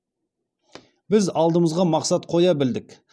біз алдымызға мақсат қоя білдік